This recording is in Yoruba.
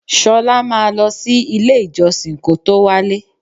Ṣolá máa lọ sí ilé-ìjọsìn kó tó wálé.